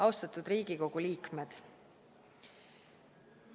Austatud Riigikogu liikmed!